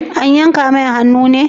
An yanka mai hannu ne?